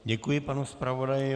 Děkuji panu zpravodaji.